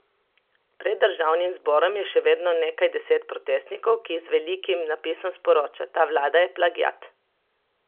Pred državnim zborom je še vedno nekaj deset protestnikov, ki z velikim napisom sporoča: 'Ta vlada je plagiat'.